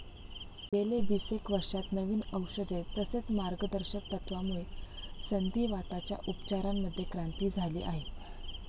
गेल्या विसेक वर्षात नवी औषधे, तसेच मार्गदर्शक तत्वामुळे संधीवाताच्या उपचारांमध्ये क्रांती झाली आहे.